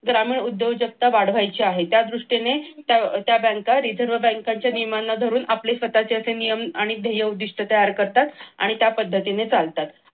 तर ग्रामीण उद्योजकता वाढवायची आहे त्या दृष्टीने त्या बँका reserve बँकांच्या नियमांना धरून आपले स्वतःचे नियम आणि ध्येय उद्दिष्ट्य तयार करतात आणि त्या पद्धतीने चालतात.